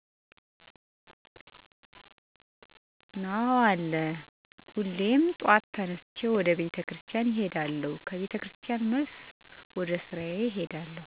አወ አለ፦ ሁሌም ጧት ተነስቸ ወደ ቤተክርስቲያን እሄዳለሁ ከቤተክርስቲያን መልስ ወደስራ እሄዳለሁ።